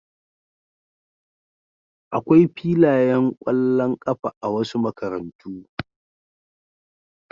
Akwai filayen ƙwallon ƙafa a wasu makarantu.